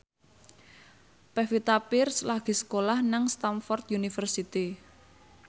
Pevita Pearce lagi sekolah nang Stamford University